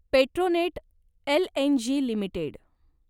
Petronet LNG limited